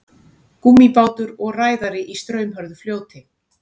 Gúmmíbátur og ræðari í straumhörðu fljóti.